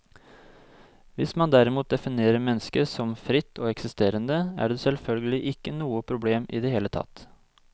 Hvis man derimot definerer mennesket som fritt og eksisterende, er det selvfølgelig ikke noe problem i det hele tatt.